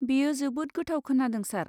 बेयो जोबोद गोथाव खोनादों, सार।